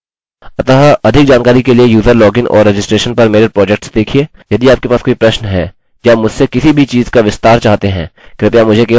अतः अधिक जानकारी के लिए यूज़र लॉगिन और रजिस्ट्रेशन पर मेरे प्रोजेक्ट्स देखिये